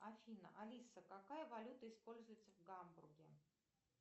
афина алиса какая валюта используется в гамбурге